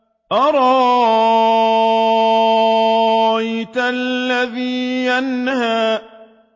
أَرَأَيْتَ الَّذِي يَنْهَىٰ